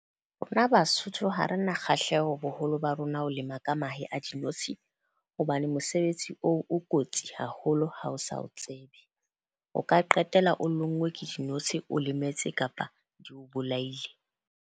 Rona Basotho ha re na kgahleho boholo ba rona ho lema ka mahe a dinotshi. Hobane mosebetsi oo o kotsi haholo ha o sa o tsebe. O ka qetella o lonngwe ke dinotshi, o lemetse kapa di o bolaile.